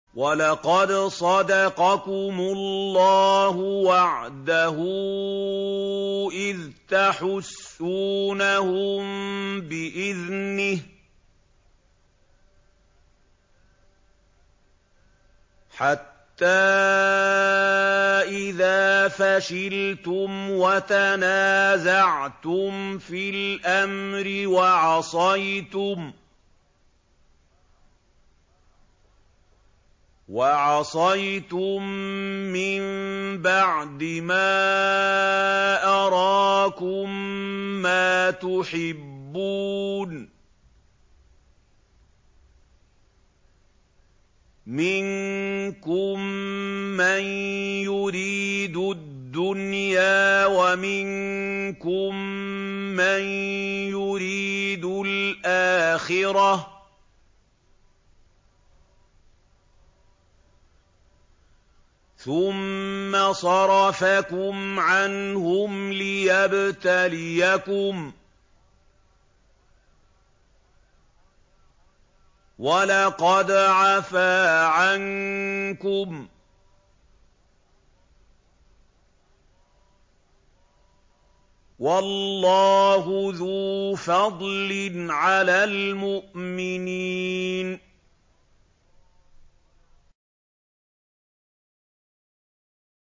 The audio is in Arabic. وَلَقَدْ صَدَقَكُمُ اللَّهُ وَعْدَهُ إِذْ تَحُسُّونَهُم بِإِذْنِهِ ۖ حَتَّىٰ إِذَا فَشِلْتُمْ وَتَنَازَعْتُمْ فِي الْأَمْرِ وَعَصَيْتُم مِّن بَعْدِ مَا أَرَاكُم مَّا تُحِبُّونَ ۚ مِنكُم مَّن يُرِيدُ الدُّنْيَا وَمِنكُم مَّن يُرِيدُ الْآخِرَةَ ۚ ثُمَّ صَرَفَكُمْ عَنْهُمْ لِيَبْتَلِيَكُمْ ۖ وَلَقَدْ عَفَا عَنكُمْ ۗ وَاللَّهُ ذُو فَضْلٍ عَلَى الْمُؤْمِنِينَ